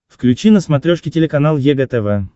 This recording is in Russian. включи на смотрешке телеканал егэ тв